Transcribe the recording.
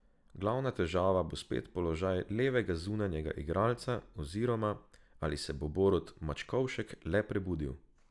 Glavna težava bo spet položaj levega zunanjega igralca, oziroma, ali se bo Borut Mačkovšek le prebudil.